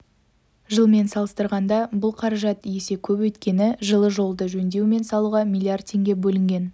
жылмен салыстырғанда бұл қаражат есе көп өйткені жылы жолды жөндеу мен салуға млрд теңге бөлінген